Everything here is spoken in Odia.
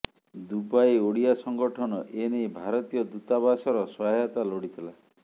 ଦୁବାଇ ଓଡ଼ିଆ ସଙ୍ଗଠନ ଏନେଇ ଭାରତୀୟ ଦୂତାବାସର ସହାୟତା ଲୋଡ଼ିଥିଲା